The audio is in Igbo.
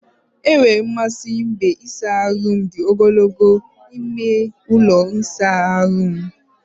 Enwere m mmasị n'ebe ịsa ahụ dị ogologo n'ime ụlọ ịsa ahụ m.